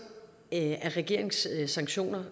af regeringens sanktioner